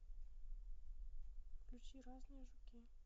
включи разное жуки